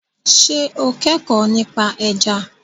Ṣé o kẹ́kọ̀ọ́ nípa ẹja?